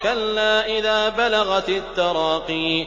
كَلَّا إِذَا بَلَغَتِ التَّرَاقِيَ